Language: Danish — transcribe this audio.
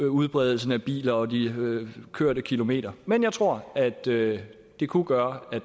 udbredelsen af biler og de kørte kilometer men jeg tror at det det kunne gøre at